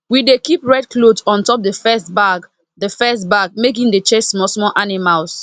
we dey keep red cloth on top the first bag the first bag make e dey chase small small animals